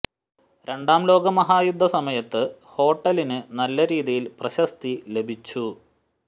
രണ്ടാം ലോക മഹായുദ്ധ സമയത്ത് ഹോട്ടലിനു നല്ല രീതിയിൽ പ്രശസ്തി ലഭിച്ചു